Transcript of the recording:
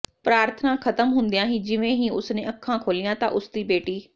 ਪ੍ਰਾਰਥਨਾ ਖ਼ਤਮ ਹੁੰਦਿਆਂ ਹੀ ਜਿਵੇਂ ਹੀ ਉਸ ਨੇ ਅੱਖਾਂ ਖੋਲੀਆਂ ਤਾਂ ਉਸ ਦੀ ਬੇਟੀ